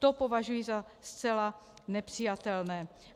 To považuji za zcela nepřijatelné.